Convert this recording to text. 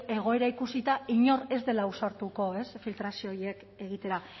egoera ikusita inor ez dela ausartuko filtrazio horiek egitera